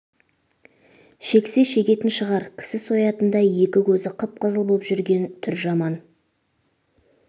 шексе шегетін шығар кісі соятындай екі көз қып-қызыл боп жүрген түр жаман